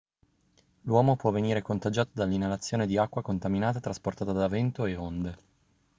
l'uomo può venire contagiato dall'inalazione di acqua contaminata trasportata da vento e onde